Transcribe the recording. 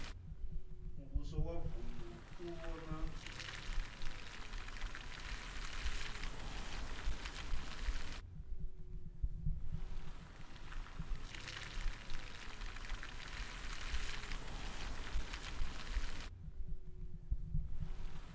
muvhuso wa vunu u vhona